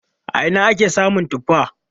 A ina ne ake samun tuffa?